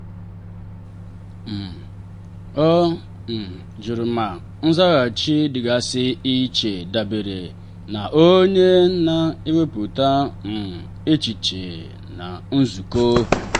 um ọ um jụrụ ma nzaghachi dịgasị iche dabere na onye na-ewepụta um echiche na nzukọ.